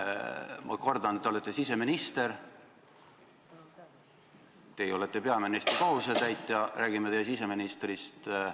Ma kordan: te olete siseminister ning te olete ka peaministri kohusetäitja ja me räägime teie siseministrist.